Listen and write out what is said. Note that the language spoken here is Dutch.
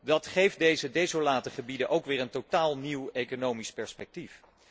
Dat geeft deze desolate gebieden ook weer een totaal nieuw economisch perspectief.